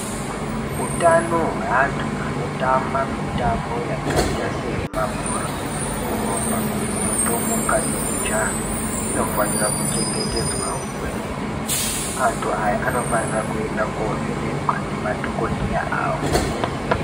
Utano hweantu anotamba mutombo yakaita semabhora, kurumba ,kutomuka nekujaha inofarwa kuchengetedzwawo kwemene ,antu aya anofanirwa kovhenekwa ngemadhokodheya avo.